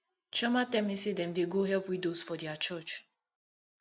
chioma tell me say dem dey go help widows for their church